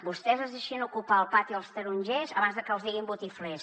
vostès es deixarien ocupar el pati dels tarongers abans de que els diguin botiflers